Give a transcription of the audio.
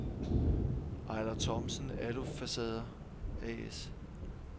Eiler Thomsen Alufacader A/S